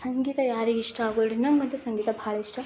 ಸಂಗೀತ ಯಾರಿಗೆ ಇಷ್ಟ ಆಗೋಲ್ಲ ನಂಗಂತೂ ಸಂಗೀತ ಬಹಳ ಇಷ್ಟ.